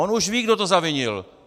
On už ví, kdo to zavinil.